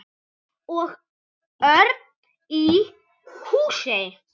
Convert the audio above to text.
Og Örn í Húsey.